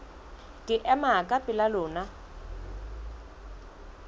ke ema ka pela lona